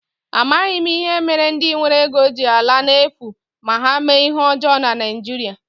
Amaghị m ihe mere ndi nwere ego ji ala n'efu ma ha mee ihe ọjọọ na Naijiria.